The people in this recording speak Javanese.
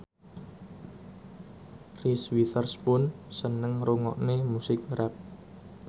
Reese Witherspoon seneng ngrungokne musik rap